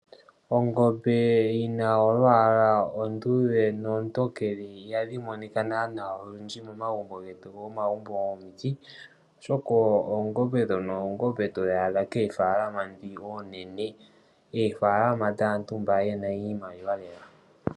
Ongombe yi na olwaala oluluudhe nolutokele ihadhi monika naanaa olundji momagumbo getu gomomagumbo gomiti, oshoka oongombe ndhono oongombe to dhi adha koofaalama ndhi oonene. Oofaalama dhaantu mba ye na iimaliwa lela.